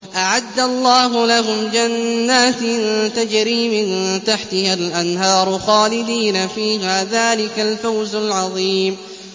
أَعَدَّ اللَّهُ لَهُمْ جَنَّاتٍ تَجْرِي مِن تَحْتِهَا الْأَنْهَارُ خَالِدِينَ فِيهَا ۚ ذَٰلِكَ الْفَوْزُ الْعَظِيمُ